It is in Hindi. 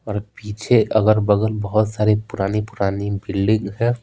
और पीछे अगल-बगल बहुत सारी पुरानी-पुरानी बिल्डिंग है।